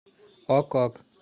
ок ок